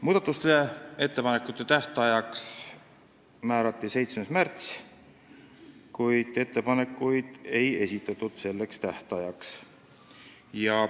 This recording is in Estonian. Muudatusettepanekute esitamise tähtajaks määrati 7. märts, kuid ettepanekuid selleks tähtajaks ei esitatud.